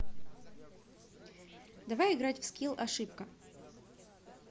давай играть в скилл ошибка